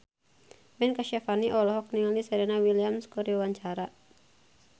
Ben Kasyafani olohok ningali Serena Williams keur diwawancara